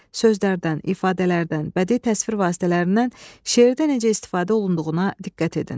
Sözlərdən, ifadələrdən, bədii təsvir vasitələrindən, şeirdə necə istifadə olunduğuna diqqət edin.